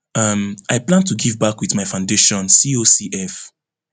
um i plan to give back wit my foundation cocf